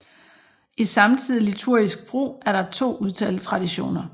I samtidig liturgisk brug er der to udtaletraditioner